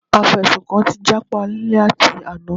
Afẹ̀sùnkàn ti jápa láti àná.